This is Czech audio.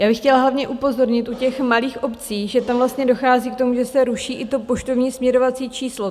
Já bych chtěla hlavně upozornit u těch malých obcí, že tam vlastně dochází k tomu, že se ruší i to poštovní směrovací číslo.